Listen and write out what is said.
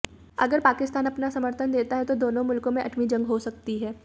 अगर पाकिस्तान अपना समर्थन देता है तो दोनों मुल्कों में एटमी जंग हो सकती है